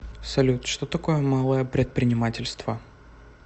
салют что такое малое предпринимательство